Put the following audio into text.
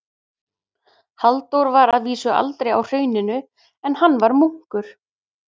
Halldór var að vísu aldrei á Hrauninu, en hann var munkur.